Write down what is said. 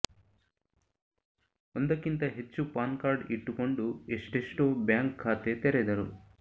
ಒಂದಕ್ಕಿಂತ ಹೆಚ್ಚು ಪಾನ್ಕಾರ್ಡ್ ಇಟ್ಟುಕೊಂಡು ಎಷ್ಟೆಷ್ಟೋ ಬ್ಯಾಂಕ್ ಖಾತೆ ತೆರೆದರು